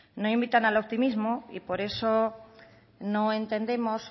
no invitan al optimismo y por eso no entendemos